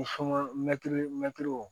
Ni mɛtiri mɛtiriw